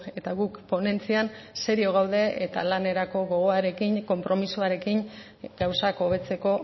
eta guk ponentzian serio gaude eta lanerako gogoarekin konpromisoarekin gauzak hobetzeko